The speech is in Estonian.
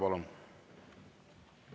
Palun!